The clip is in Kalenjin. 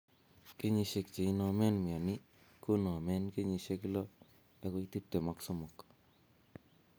kenyisiek che inomen mioni ko nomen 6 agoi 23